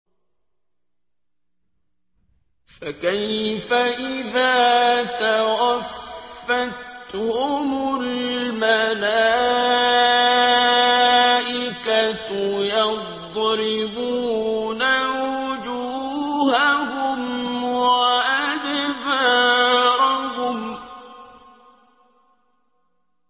فَكَيْفَ إِذَا تَوَفَّتْهُمُ الْمَلَائِكَةُ يَضْرِبُونَ وُجُوهَهُمْ وَأَدْبَارَهُمْ